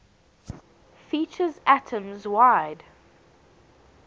features atoms wide